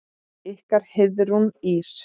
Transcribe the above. Ykkar Heiðrún Ýrr.